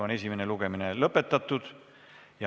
Esimene lugemine on lõppenud.